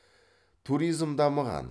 туризм дамыған